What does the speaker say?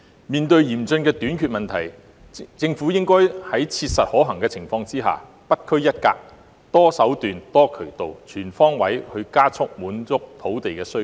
面對嚴峻的土地短缺問題，政府應該在切實可行的情況下不拘一格，多手段、多渠道、全方位地加快滿足土地需求。